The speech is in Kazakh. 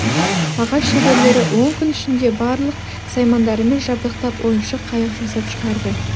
ағаш шеберлері он күн ішінде барлық саймандарымен жабдықтап ойыншық қайық жасап шығарды